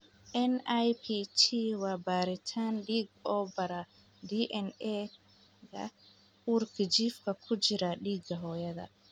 NIPT waa baaritaan dhiig oo baara DNA-ga uurjiifka ku jira dhiigga hooyada.